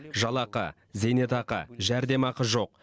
жалақы зейнетақы жәрдемақы жоқ